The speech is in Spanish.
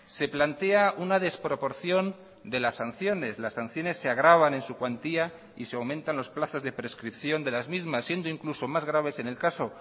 se plantea una desproporción de las sanciones las sanciones se agravan en su cuantía y se aumentan los plazos de prescripción de las mismas siendo incluso más graves en el caso